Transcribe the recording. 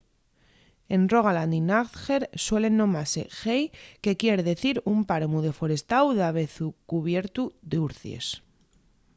en rogaland y n'agder suelen nomase hei” que quier dicir un páramu deforestáu davezu cubiertu d’urcies